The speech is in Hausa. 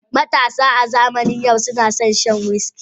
Matasa a zamanin yau suna son shan wiski.